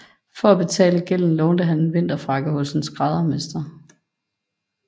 For at betale gælden lånte han en vinterfrakke hos en skræddermester